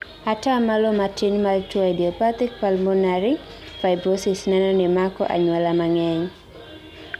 ataa malo matin mar tuo idiopathic pulmonary fibrosis neno ni mako anyuola mang'eny